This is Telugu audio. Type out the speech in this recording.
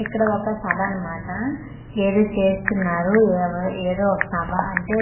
ఇక్కడ ఒక సభ అన్నమాట ఏదో చేస్తున్నారు ఎవ్ ఏదో ఒక సభ అంటే పెళ్ళి దో తే--